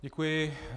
Děkuji.